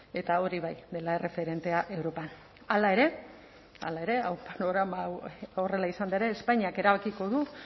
eta hori bai dela erreferentea europan hala ere hala ere panorama hau horrela izanda ere espainiak erabakiko du